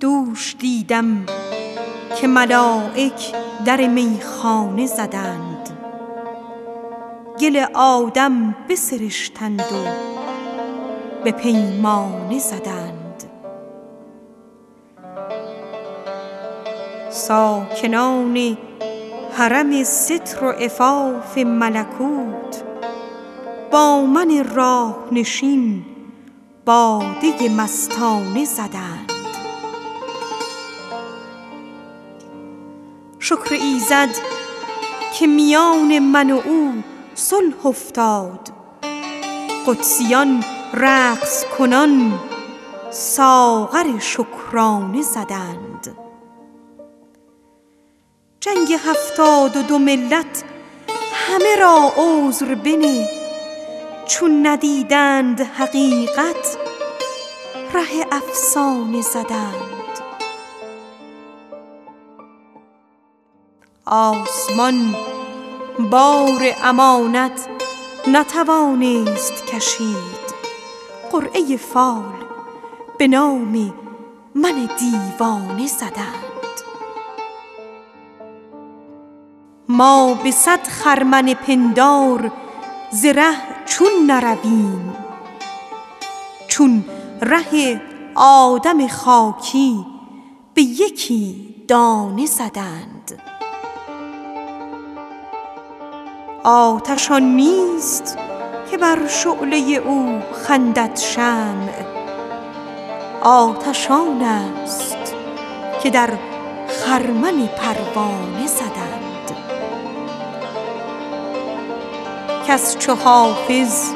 دوش دیدم که ملایک در میخانه زدند گل آدم بسرشتند و به پیمانه زدند ساکنان حرم ستر و عفاف ملکوت با من راه نشین باده مستانه زدند آسمان بار امانت نتوانست کشید قرعه کار به نام من دیوانه زدند جنگ هفتاد و دو ملت همه را عذر بنه چون ندیدند حقیقت ره افسانه زدند شکر ایزد که میان من و او صلح افتاد صوفیان رقص کنان ساغر شکرانه زدند آتش آن نیست که از شعله او خندد شمع آتش آن است که در خرمن پروانه زدند کس چو حافظ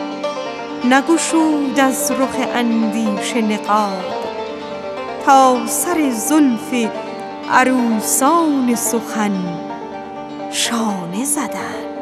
نگشاد از رخ اندیشه نقاب تا سر زلف سخن را به قلم شانه زدند